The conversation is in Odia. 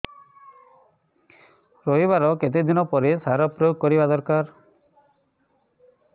ରୋଈବା ର କେତେ ଦିନ ପରେ ସାର ପ୍ରୋୟାଗ କରିବା ଦରକାର